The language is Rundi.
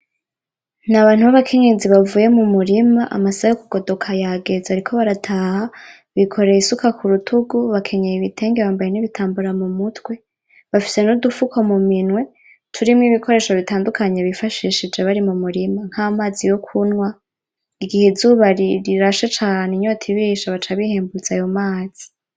Ni abantu babakenyezi bavuye mu murima amasaha yo kugodoka yageze bariko barataha bikoreye isuka kurutugu, bakenyeye ibitenge bambaye n'ibitambaro mu mutwe bafise nudufuko mu minwe turimwo ibikoresho bitandukanye bifashishije bari mu murima nk'amazi yo kunwa, igihe izuba rirashe cane inyota ibishe baca bihembuza ayo mazi.